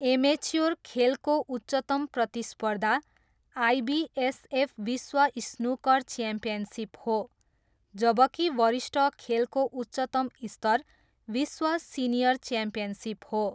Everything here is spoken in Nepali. एमेच्योर खेलको उच्चतम प्रतिस्पर्धा आइबिएसएफ विश्व स्नुकर च्याम्पियनसिप हो, जबकि वरिष्ठ खेलको उच्चतम स्तर विश्व सिनियर च्याम्पियनसिप हो।